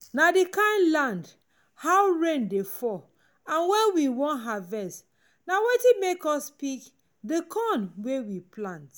na the kind land how rain dey fall and when we wan harvest na wetin make us pick the corn wey we plant.